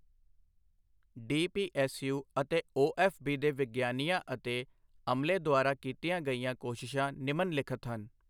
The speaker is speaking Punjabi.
ਡੀਪੀਐੱਸਯੂਅਤੇ ਓਐੱਫਬੀ ਦੇ ਵਿਗਿਆਨੀਆਂ ਅਤੇ ਅਮਲੇਦੁਆਰਾ ਕੀਤੀਆਂ ਗਈਆਂ ਕੋਸ਼ਿਸ਼ਾਂ ਨਿਮਨ ਲਿਖਤ ਹਨ